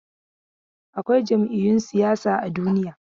Akwai jam'iyun siyasa a duniya.